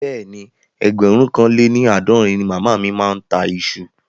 Bẹ́ẹ̀ni, ẹgbẹ̀rún kan lé ní àádọ́rin ni màmá mi ń ta iṣu